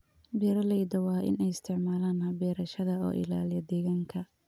Beeraleyda waa in ay isticmaalaan habab beerashada oo ilaaliya deegaanka.